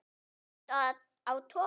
Varstu á togara?